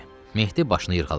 Mehdi başını yırğaladı.